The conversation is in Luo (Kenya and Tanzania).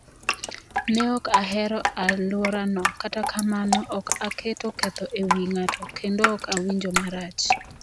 Ne ok ahero alworano, kata kamano, ok aketo ketho e wi ng'ato kendo ok awinjo marach.